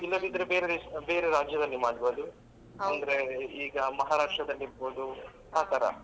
ಇಲ್ಲದಿದ್ರೆ ಬೇರೆ ದೇಶ ಬೇರೆ ರಾಜ್ಯದಲ್ಲಿ ಮಾಡ್ಬಹುದು ಅಂದ್ರೆ ಈಗ Maharashtra ದಲ್ಲಿ ಇರ್ಬಹುದು ಆ ತರ.